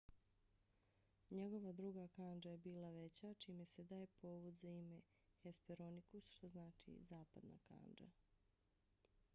njegova druga kandža je bila veća čime se daje povod za ime hesperonikus što znači zapadna kandža